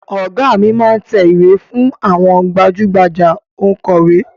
Ọ̀gá mi máá ń tẹ ìwé fún àwọn gbajú-gbajà Ònkọ̀wẹ́